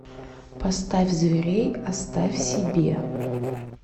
поставь зверей оставь себе